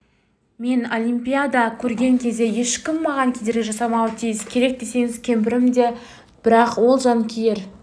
мен олимпиада көрген кезде ешкім маған кедергі жасамауы тиіс керек десеңіз кемпірім де бірақ ол жанкүйер